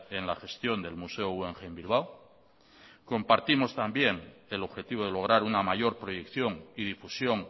en la gestión del museo guggenheim bilbao compartimos también el objetivo de lograr una mayor proyección y difusión